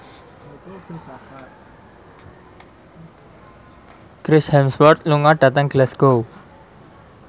Chris Hemsworth lunga dhateng Glasgow